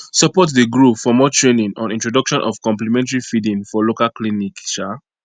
support dey grow for more training on introduction of complementary feeding for local clinic um